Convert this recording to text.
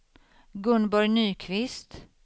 Gunborg Nyqvist